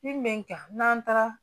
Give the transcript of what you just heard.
Min bɛ n kan n'an taara